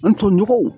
N toɲɔgɔnw